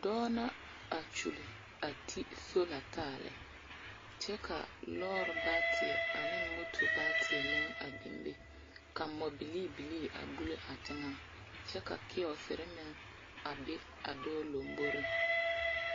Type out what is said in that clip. Dͻͻ la a kyuli a te sola taa lԑ. kyԑ kaa lͻͻre baateԑ ne mot baateԑ meŋ biŋ be, ka mͻbilii bilii a buli a teŋԑŋ kyԑ ka kiyͻͻsere meŋ a be a dͻͻ lamboriŋ.